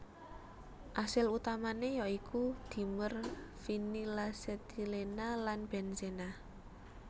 Asil utamané ya iku dimer vinilasetilena lan benzena